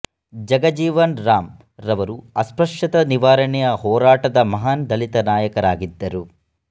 ಜಗಜೀವನ ರಾಮ್ ರವರು ಅಸ್ಪ್ರಶ್ಯತಾ ನಿವಾರಣೆಯ ಹೋರಾಟದ ಮಹಾನ್ ದಲಿತ ನಾಯಕರಾಗಿದ್ದರು